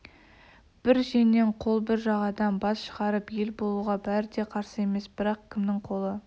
бір жеңнен қол бір жағадан бас шығарып ел болуға бәріде қарсы емес бірақ кімнің қолы